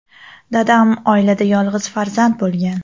Dadam oilada yolg‘iz farzand bo‘lgan.